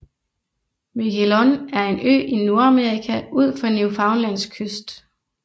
Miquelon er en ø i Nordamerika ud for Newfoundlands kyst